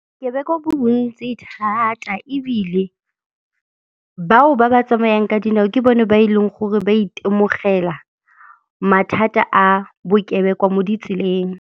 Bokebekwa bo bontsi thata ebile bao ba ba tsamayang ka dinao ke bone ba e leng gore ba itemogela mathata a bokebekwa mo ditseleng.